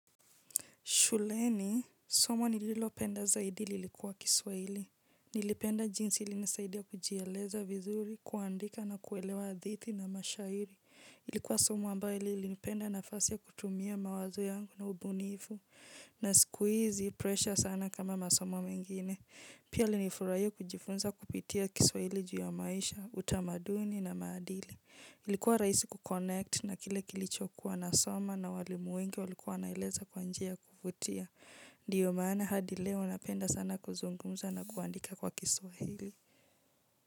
Shuleni somo nililopenda zaidi lilikuwa kiswahili, nilipenda jinsi ilinisaidia kujieleza vizuri kuandika na kuelewa hadithi na mashairi, ilikuwa somo ambayo ilinipea ile nafasi ya kutumia mawazo yangu na ubunivu, na siku hizi pressure sana kama masomo mengine pia nilifurahia kujifunza kupitia kiswahili ju ya maisha utamaduni na maadili. Ilikuwa rahisi ku conect na kile kilicho kuwa nasoma na waalimu wengi walikuwa wanaeleza kwa njia ya kuvutia. Ndiyo maana hadi leo napenda sana kuzungumza na kuandika kwa kiswahili.